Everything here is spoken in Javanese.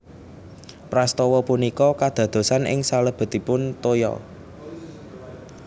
Prastawa punika kadadosan ing salebetipun toya